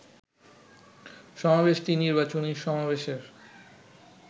সমাবেশটি নির্বাচনী সমাবেশের